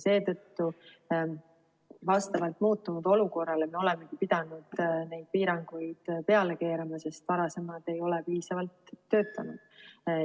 Seetõttu vastavalt muutunud olukorrale me olemegi pidanud neid piiranguid peale keerama, sest varasemad ei ole piisavalt töötanud.